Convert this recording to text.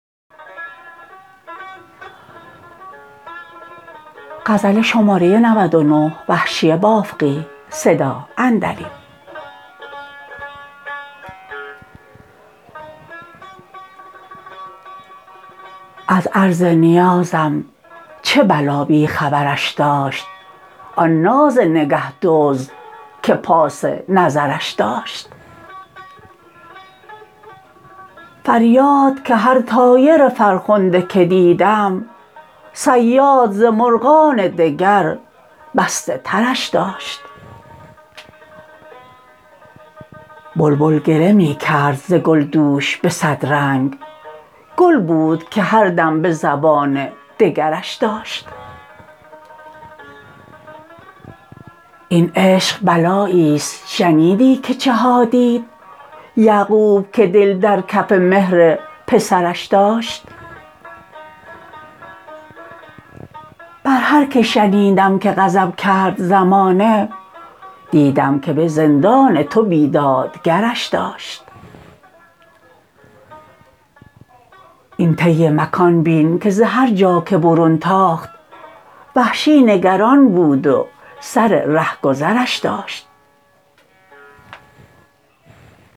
از عرض نیازم چه بلا بی خبرش داشت آن ناز نگه دزد که پاس نظرش داشت فریاد که هر طایر فرخنده که دیدم صیاد ز مرغان دگر بسته ترش داشت بلبل گله می کرد ز گل دوش به صد رنگ گل بود که هر دم به زبان دگرش داشت این عشق بلایی ست شنیدی که چه ها دید یعقوب که دل در کف مهر پسرش داشت بر هر که شنیدم که غضب کرد زمانه دیدم که به زندان تو بیداد گرش داشت این طی مکان بین که ز هر جا که برون تاخت وحشی نگران بود و سر رهگذرش داشت